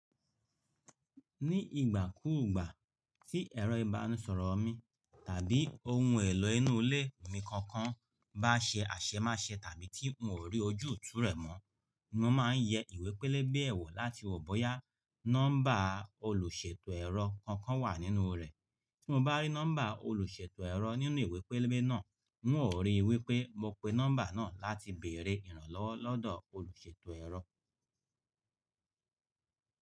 Ní ìgbà kúùgbà tí ẹ̀rọ ìbánisọ̀rọ̀ mi tàbí ohun èlò inú ilé mi kankan bá ṣe àṣemáṣe tàbí tí n ò rí ojú òtú rẹ̀ mọ́, ni mo máa ń yẹ ìwé pẹlẹbẹ ẹ̀wọ̀ láti wò bóyá nọ́mbà olùṣètò ẹ̀rọ kankan wà nínú rẹ̀. Tí mo bá rí nọ́mbà olùṣètò ẹ̀rọ nínú ìwé pẹlẹbẹ náà, n ó rí i wípé mo pe nọ́mbà náà láti bèrè ìrànlọ́wọ́ lọ́dọ̀ olùṣètò ẹ̀rọ.